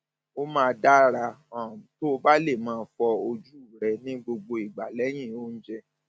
ó máa dára um tó o bá lè máa fọ ojú rẹ ní gbogbo ìgbà lẹyìn oúnjẹ